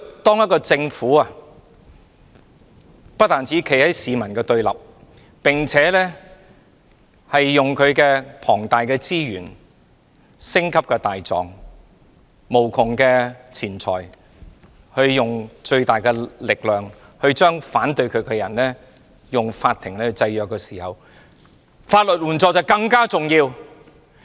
當政府不單站在市民的對立面，並且運用其龐大資源、星級大狀、無窮錢財，盡最大力量利用法庭來制約反對它的人時，法援就顯得更為重要。